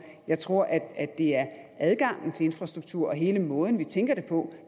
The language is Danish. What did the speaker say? jeg tror at det er adgangen til infrastruktur og hele den måde vi tænker det på